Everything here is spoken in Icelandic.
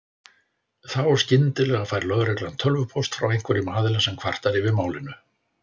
Þá skyndilega fær lögreglan tölvupóst frá einhverjum aðila sem kvartar yfir málinu.